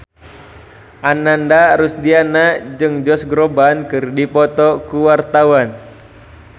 Ananda Rusdiana jeung Josh Groban keur dipoto ku wartawan